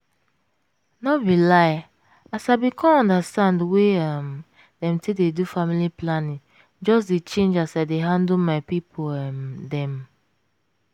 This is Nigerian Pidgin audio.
no be lie as i bin come understand way um dem take dey do family planning just dey change as i dey handle my pipo um dem.